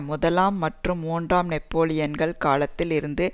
முதலாம் மற்றும் மூன்றாம் நெப்போலியன்கள் காலத்தில் இருந்து